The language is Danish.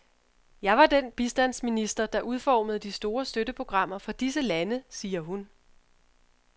Jeg var den bistandsminister, der udformede de store støtteprogrammer for disse lande, siger hun.